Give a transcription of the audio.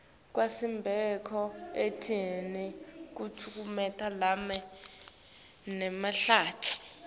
kwasemsebentini kutekulima nemahlatsi